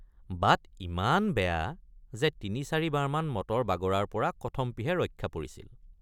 বাট ইমান বেয়া যে ৩৷৪ বাৰমান মটৰ বগৰাৰপৰা কথমপিহে ৰক্ষা পৰিছিল।